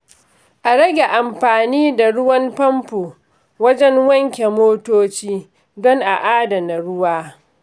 A rage amfani da ruwan famfo wajen wanke motoci don a adana ruwa.